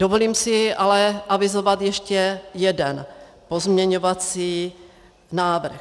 Dovolím si ale avizovat ještě jeden pozměňovací návrh.